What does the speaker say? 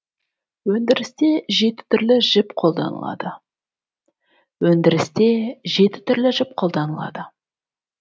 өндірісте жеті түрлі жіп қолданылады өндірісте жеті түрлі жіп қолданылады